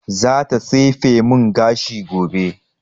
Za ta tsefe mun gashi gobe